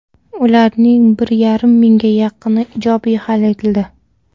Ularning bir yarim mingga yaqini ijobiy hal etildi.